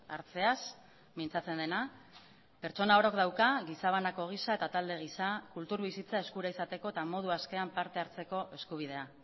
hartzeaz mintzatzen dena pertsona orok dauka gizabanako gisa eta talde gisa kultur bizitza eskura izateko eta modu askean partehartzeko eskubidea